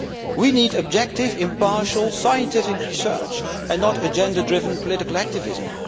We need objective, impartial scientific research, and not an agenda driven political activism.